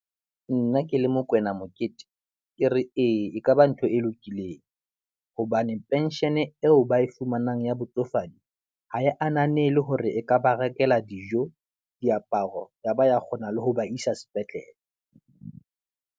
Nna ke le Mokwena Mokete, ke re ee ekaba ntho e lokileng, hobane pension eo ba e fumanang ya botsofadi, ha e ananele hore e ka ba rekela dijo, diaparo, yaba ya kgona le ho ba isa sepetlele.